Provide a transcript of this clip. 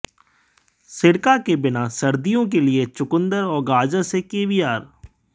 सिरका के बिना सर्दियों के लिए चुकंदर और गाजर से कैवियार